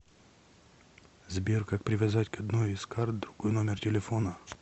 сбер как привязать к одной из кард другой номер телефона